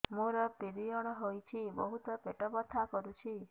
ମୋର ପିରିଅଡ଼ ହୋଇଛି ବହୁତ ପେଟ ବଥା କରୁଛି